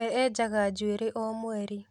We enjaga njuĩrĩ o mweri